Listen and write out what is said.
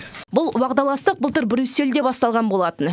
бұл уағдаластық былтыр брюссельде басталған болатын